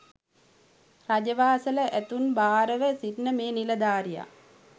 රජ වාසල ඇතුන් භාර ව සිටින මේ නිලධාරියා